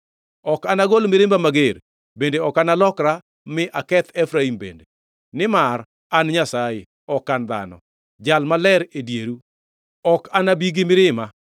Ok anaol mirimba mager bende ok analokra mi aketh Efraim bende. Nimar an Nyasaye, ok an dhano, Jal Maler e dieru. Ok anabi gi mirima.